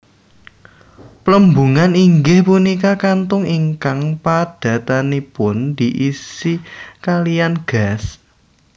Plembungan inggih punika kantong ingkang padatanipun diisi kaliyan gas